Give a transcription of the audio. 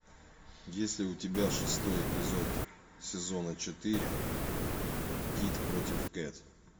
есть ли у тебя шестой эпизод сезона четыре кид против кэт